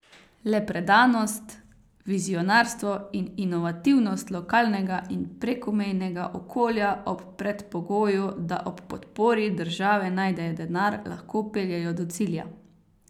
Le predanost, vizionarstvo in inovativnost lokalnega in prekomejnega okolja ob predpogoju, da ob podpori države najdejo denar, lahko peljejo do cilja.